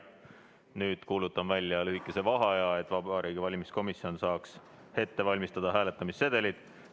Nüüd kuulutan välja lühikese vaheaja, et Vabariigi Valimiskomisjon saaks ette valmistada hääletamissedelid.